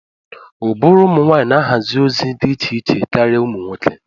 Ụbụrụ ụmụ nwanyị na-ahazi ozi dị iche iche karịa ụmụ nwoke